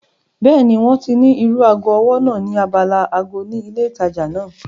Bẹ́ẹ̀ni, wọ́n ní irú ago ọwọ́ náà ní abala ago ni ilé ìtajà náà